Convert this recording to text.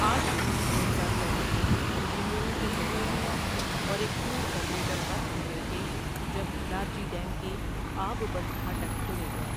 اٹھ جون دو ہزار چودہ کو انجینئرنگ کے چودہ طلباء اور ایک ٹور آپریٹر غرق ہو گئے تھے جب لارجی ڈیم کے آب بند پھاٹک کھولے گئے۔